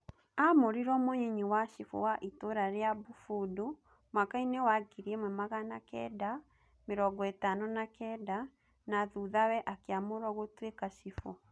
Aamũrirwo munyinyi wa cibu wa itũra ria Bufundu mwakaini wa 1959, na thuthawe akiamurwo gũtwika cibu